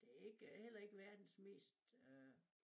Det ikke heller ikke verdens mest øh